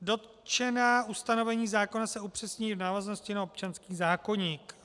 Dotčená ustanovení zákona se upřesňují v návaznosti na občanský zákoník.